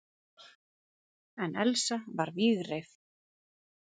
En Elsa var vígreif.